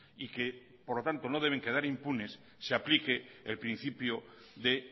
y que por lo tanto no deben quedar impunes se aplique el principio de